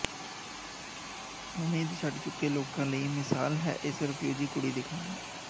ਉਮੀਦ ਛੱਡ ਚੁੱਕੇ ਲੋਕਾਂ ਲਈ ਮਿਸਾਲ ਹੈ ਇਸ ਰਫਿਊਜੀ ਕੁੜੀ ਦੀ ਕਹਾਣੀ